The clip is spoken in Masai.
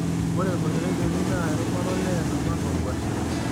Ore olteregeli naa erubata olee, naba anaa olkuashe.